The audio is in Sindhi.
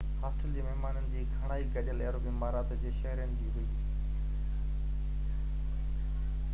هاسٽل جي مهمانن جي گهڻائي گڏيل عرب امارات جي شهرين جي هئي